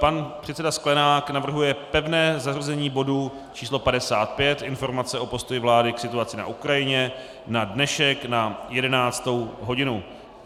Pan předseda Sklenák navrhuje pevné zařazení bodu číslo 55, informace o postoji vlády k situaci na Ukrajině, na dnešek na 11. hodinu.